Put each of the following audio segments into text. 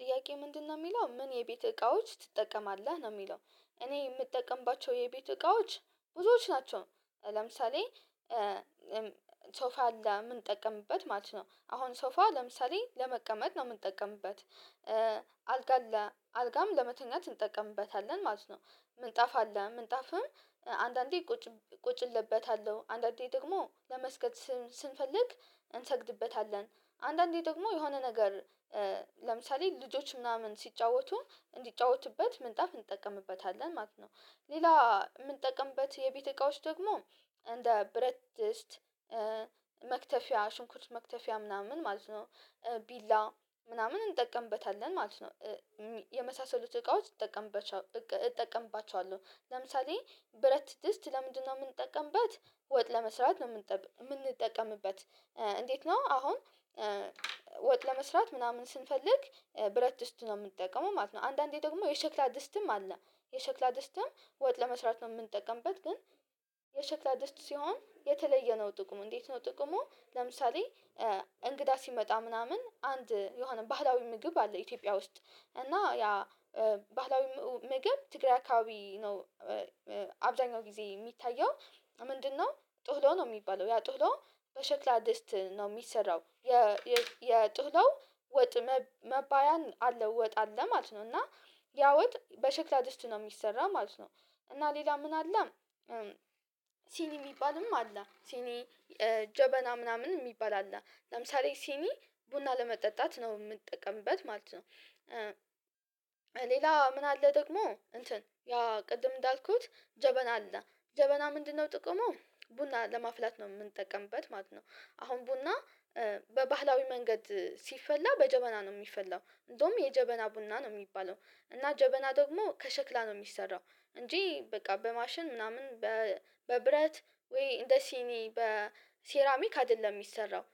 ጥያቄ ምንድነው የሚለው ምን የቤት እቃዎች ትጠቀማለህ ነው የሚለው? እኔ የምጠቀምባቸው የቤት እቃዎች ብዙዎች ናቸው። ለምሳሌ ሶፋ አለ የምንጠቀምበት ማለት ነው አሁን ሶፋ ለምሳሌ ለመቀመጥ ነው የምንጠቀምበት። አልጋ አለ አልጋም ለመተኛት እንጠቀምበታለን ማለት ነው። ምንጣፍ አለ ምንጣፍም አንዳንዴ ቁጭ ቁጭልበታለሁ አንዳንዴ ደግሞ ለመስገድ ስንፈልግ እንሰግድበታለን አንዳንዴ ደግሞ የሆነ ነገር ለምሳሌ ልጆች ምናምን ሲጫወቱ እንዲጫወቱበት ምንጣፍ እንጠቀምበታለን ማለት ነው። ሌላ የምንጠቅምበት የቤት እቃዎች ደግሞ እንደ ብረት ድስት መክተፊያ ሽንኩርት መክተፊያ ምናምን ማለት ነው። ቢላ ምናምን እንጠቀምበታለን ማለት ነው። የመሳሰሉት እቃዎች እንጠቀምባቸዋ እጠቀምባቸዋለሁ ለምሳሌ ብረት ድስት ለምንድነው የምንጠቀምበት ወጥ ለመስራት ነው። የምንጠቀምበት እንዴት ነው አሁን ወጥ ለመስራት ምናምን ስንፈልግ ብረት ድስት ነው የምንጠቀመው ማለት ነው። አንዳንዴ ደግሞ የሸክላ ድስትም አለ የሸክላ ድስትም ወጥ ለመስራት ነው የምንጠቀምበት ግን። የሸክላ ድስት ሲሆን የተለየ ነው ጥቅሙ እንዴት ነው ጥቅሙ? ለምሳሌ እንግዳ ሲመጣ ምናምን አንድ የሆነ ባህላዊ ምግብ አለ ኢትዮጵያ ውስጥ እና ያ ባህላዊ ምግብ ትግራይ አካባቢ ነው። አብዛኛው ጊዜ የሚታየው ምንድነው? ጥህሎ ነው የሚባለው ያ ጥህሎ በሸክላ ድስት ነው የሚሰራው የ የጥህሎ ወጥ መባያን አለው ወጥ አለ ማለት ነው። እና ያወጥ በሽክላ ድስት ነው የሚሰራ ማለት ነው። እና ሌላ ምን አለ? ሲኒ የሚባልም አለ ሲኒ ጀበና ምናምን የሚባል አለ ለምሳሌ ሲኒ ቡና ለመጠጣት ነው የምንጠቀምበት ማለት ነው። ሌላ ምን አለ? ደግሞ እንትን ያ ቅድም እንዳልኩት ጀበና አለ ጀበና ምንድነው ጥቅሙ? ቡና ለማፍላት ነው የምንጠቀምበት ማለት ነው። አሁን ቡና በባህላዊ መንገድ ሲፈላ በጀበና ነው የሚፈላው እንደውም የጀበና ቡና ነው የሚባለው እና ጀበና ደግሞ ከሸክላ ነው የሚሰራው እንጂ በቃ በማሽን ምናምን በብረት ወይ እንደ ሲኒ በሴራሚክ አይደለም የሚሰራው።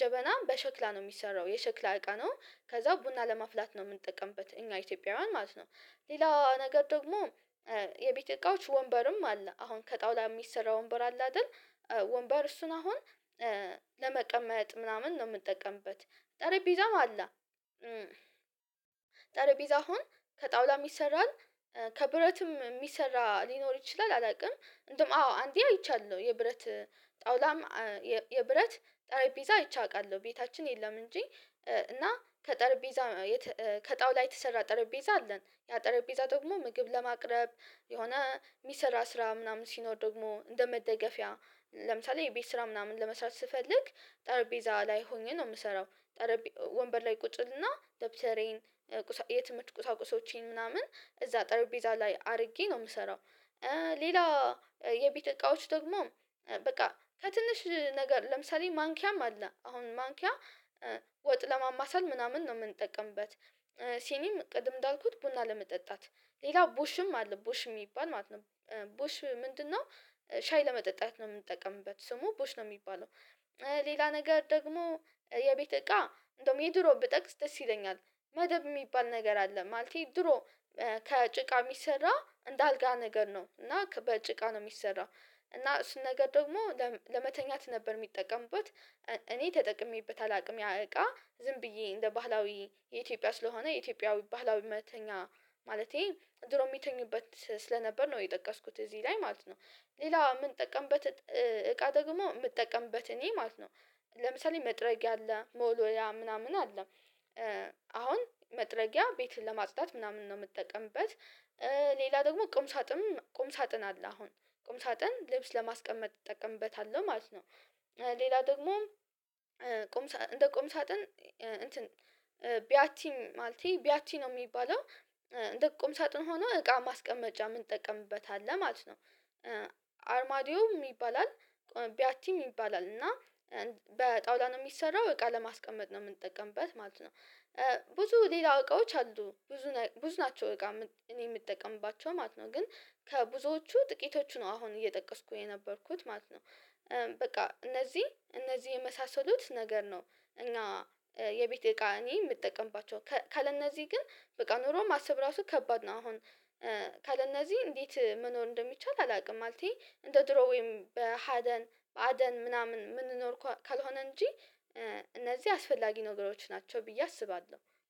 ጀበናም በሸክላ ነው የሚሰራው የሸክላ እቃ ነው ከዛ ቡና ለማፍላት ነው የምንጠቀምበት እኛ ኢትዮጵያውያን ማለት ነው። ሌላ ነገር ደግሞ የቤት እቃዎች ወንበርም አለ አሁን ከጣውላ የሚሰራ ወንበር አለ አይደል? ወንበር እሱን አሁን ለመቀመጥ ምናምን ነው የምጠቀምበት። ጠረጴዛም አለ ጠረጴዛ አሁን ከጣውላም ይሰራል ከብረትም የሚሰራ ሊኖር ይችላል። አላቅም እንደውም አዎ አንዴ አይቻለሁ የብረት ጣውላም የብረት ጠረጴዛ አይቼ አቃለሁ ቤታችን የለም እንጂ። እና ከጠረጴዛ ከጣውላ የተሰራ ጠረጴዛ አለን ያ ጠረጴዛ ጥቅሙ ምግብ ለማቅረብ የሆነ የሚሰራ ስራ ምናምን ሲኖር ደግሞ እንደ መደገፊያ ለምሳሌ የቤት ስራ ምናምን ለመስራት ስፈልግ ጠረጴዛ ላይ ሆኜ ነው የምሰራው። ወንበር ላይ ቁጭልና ደብተሬን የትምህርት ቁሳቁሶቼን ምናምን እዛ ጠርጴዛ ላይ አርጌ ነው የምሰራው። ሌላ የቤተ እቃዎች ደግሞ በቃ ከትንሽ ነገር ለምሳሌ ማንኪያም አለ አሁን ማንኪያ ወጥ ለማማሰል ምናምን ነው የምንጠቀምበት። ሲኒም ቅድም እንዳልኩት ቡና ለመጠጣት ሌላው ቦሽም አለ ቦሽ የሚባል ማለት ነው። ቦሽ ምንድነው? ሻይ ለመጠጣት ነው የምንጠቀምበት ስሙ ቦሽ ነው የሚባለው። ሌላ ነገር ደግሞ የቤት እቃ እንደውም የድሮ ብጠቅስ ደስ ይለኛል። መደብ የሚባል ነገር አለ ማለቴ ድሮ ከጭቃ የሚሰራ እንደ አልጋ ነገር ነው እና ከበጭቃ ነው የሚሰራው። እና እሱን ነገር ደግሞ ለመተኛት ነበር የሚጠቀሙበት። እኔ ተጠቅሜበት አላቅም ያ እቃ ዝም ብዬ እንደ ባህላዊ የኢትዮጵያ ስለሆነ የኢትዮጵያዊ ባህላዊ መተኛ ማለቴ ድሮ የሚተኙበት ስለነበር ነው የጠቀስኩት እዚህ ላይ ማለት ነው። ሌላ የምንጠቀምበት እቃ ደግሞ የምጠቀምበት እኔ ማለት ነው። ለምሳሌ መጥረጊያ አለ መወልወያ ምናምን አለ አሁን መጥረጊያ ቤትን ለማጽዳት ምናምን ነው የምጠቀምበት። ሌላ ደግሞ ቁም ሳጥን ቁም ሳጥን አለ አሁን ቁም ሳጥን ልብስ ለማስቀመጥ እጠቀምበታለሁ ማለት ነው። ሌላ ደግሞ ቁም እንደ ቁም ሳጥን እንትን ቢያቲም ማለቴ ቢያቲ ነው የሚባለው። እንደ ቁም ሳጥን ሆኖ እቃ ማስቀመጫ የምንጠቀምበት አለ ማለት ነው። አርማዲዮም ይባላል ቢያቲም ይባላል እና በጣውላ ነው የሚሰራው እቃ ለማስቀመጥ ነው የምንጠቀምበት ማለት ነው። ብዙ ሌላ እቃዎች አሉ ብዙ ብዙ ናቸው እቃ እኔ የምጠቀምባቸው ማለት ነው። ግን ከብዙዎቹ ጥቂቶቹ ነው አሁን እየጠቀስኩ የነበርኩት ማለት ነው። በቃ እነዚህ እነዚህ የመሳሰሉት ነገር ነው። እና የቤት እቃ እኔ የምጠቀምባቸው ካለ እነዚህ ግን በቃ ኑሮን ማሰብ ራሱ ከባድ ነው። አሁን ካለ እነዚህ እንዴት መኖር እንደሚቻል አላቅም። ማለቴ እንደ ድሮ ወይም በሃደን በአደን ምናምን የምንኖር ካልሆነ እንጂ እነዚህ አስፈላጊ ነገሮች ናቸው ብዬ አስባለሁ